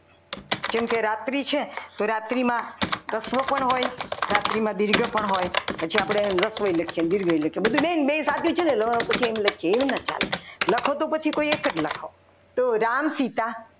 જેમ કે રાત્રિ છે તો રાત્રિમાં રસ્વ પણ હોય રાત્રિમાં દીર્ઘા પણ હોય પછી આપણી રસ્વ લખીએ ને દીર્ઘઈ લખીએ ને બધુંય બેન સાચું છે ને રસવઈ લખીએ તો એવું ના ચાલે લખો તો પછી એક જ લખો.